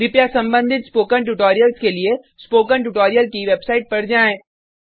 कृपया संबंधित spoken tutorials के लिए स्पोकन ट्यूटोरियल की वेबसाइट पर जाएँ